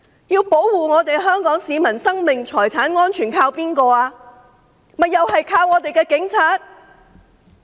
要保護香港市民生命財產安全，靠的是誰呢？